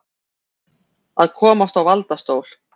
Að komast á valdastól